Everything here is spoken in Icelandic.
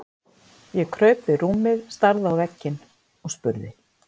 Ég kraup við rúmið, starði á vegginn og spurði